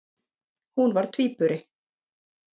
Hún var tvíburi.